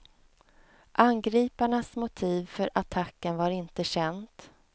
Angriparnas motiv för attacken var inte känt.